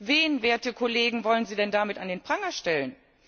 Wen, werte Kollegen, wollen sie denn damit an den Pranger stellen?